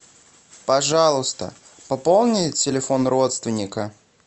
пожалуйста пополни телефон родственника